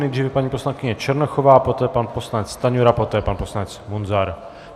Nejdříve paní poslankyně Černochová, poté pan poslanec Stanjura, poté pan poslanec Munzar.